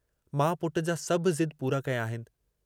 मां पुट जा सभु ज़िद पूरा कया आहिनि।